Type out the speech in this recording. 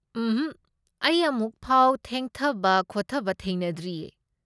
ꯎꯝꯍꯛ, ꯑꯩ ꯑꯃꯨꯛꯐꯥꯎ ꯊꯦꯡꯊꯕ ꯈꯣꯠꯇꯕ ꯊꯦꯡꯅꯗ꯭ꯔꯤꯌꯦ꯫